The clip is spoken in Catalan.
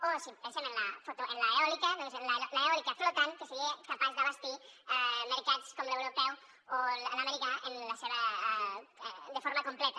o si pensem en l’eòlica doncs l’eòlica flotant que seria capaç d’abastir mercats com l’europeu o l’americà de forma completa